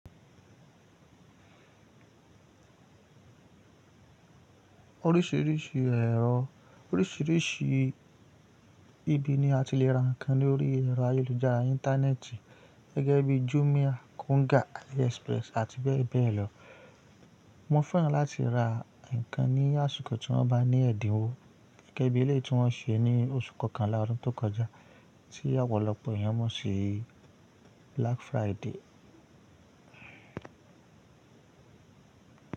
Oríṣiríṣi ẹ̀rọ, oríṣiríṣi ibi ni a ti le ra nǹkan lórí ẹ̀rọ ayélujára íńtánẹ́ẹ̀tì gẹ́gẹ́ bí Jumia, Konga, Aliexpress àti bẹ́ẹ̀ bẹ́ẹ̀ lọ. Wọ́n fẹ́ràn láti ra nǹkan ní àsìkò tí wọ́n bá ní ẹ̀dínwó gẹ́gẹ́ bí eléyi tí wọ́n ṣe ní oṣù kọkànlá ọdún tó kọjá tí ọ̀pọ̀lọpọ̀ èèyàn mọ̀ sí Black Friday.